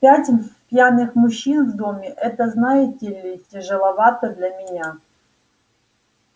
пять пьяных мужчин в доме это знаете ли тяжеловато для меня